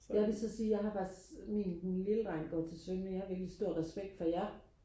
jeg vil så sige jeg har faktisk min den lille dreng går til svømning jeg har virkelig stor respekt for jer